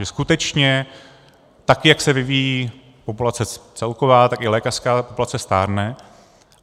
Že skutečně tak jak se vyvíjí populace celková, tak i lékařská populace stárne.